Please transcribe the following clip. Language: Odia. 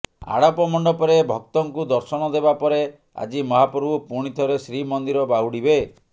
ଆଡ଼ପ ମଣ୍ଡପରେ ଭକ୍ତଙ୍କୁ ଦର୍ଶନ ଦେବା ପରେ ଆଜି ମହାପ୍ରଭୁ ପୁଣି ଥରେ ଶ୍ରୀମନ୍ଦିର ବାହୁଡ଼ିବେ